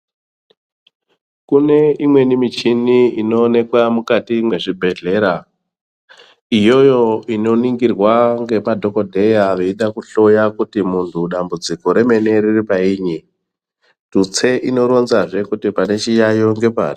Kune imweni michini inoonekwa mukati mwezvibhedhera. Iyoyo inoningirwa ngemadhokodheya veida kuhloya kuti munhu dambudziko remene riri painyi, tutse inoronzazve kuti pane chiyaiyo ngepari.